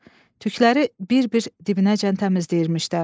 Tükləri bir-bir dibinəcən təmizləyirmişlər.